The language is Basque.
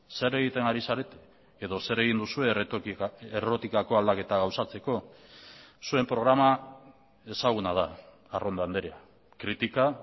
zer egiten ari zarete edo zer egin duzue errotikako aldaketa gauzatzeko zuen programa ezaguna da arrondo andrea kritika